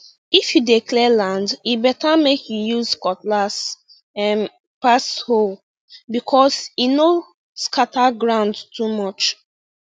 if you dey clear land e better make you use cutlass um pass hoe because e no scatter ground too much